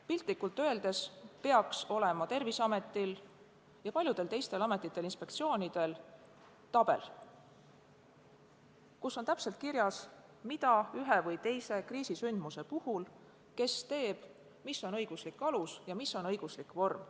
Piltlikult öeldes peaks Terviseametil ja paljudel teistel ametitel-inspektsioonidel olema ees tabel, kus on täpselt kirjas, mida ja kes ühe või teise kriisisündmuse puhul teeb ning milline on õiguslik alus ja milline on õiguslik vorm.